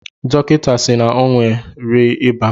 Dọkịta si n'onwe re ịba